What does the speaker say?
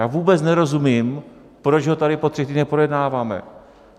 Já vůbec nerozumím, proč ho tady po třech týdnech projednáváme.